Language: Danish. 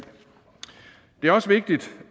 er også vigtigt